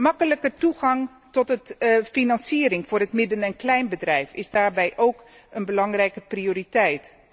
Makkelijke toegang tot financiering voor het midden en kleinbedrijf is daarbij een belangrijke prioriteit.